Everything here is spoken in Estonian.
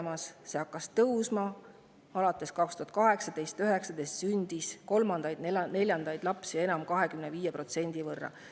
2018–2019 sündis kolmandaid ja neljandaid lapsi 25% võrra rohkem.